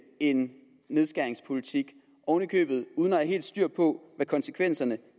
en nedskæringspolitik oven i købet uden at have helt styr på hvad konsekvenserne